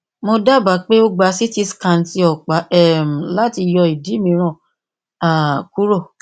mo daba pe o gba ct scan ti ọpa um lati yọ idi miiran um kuro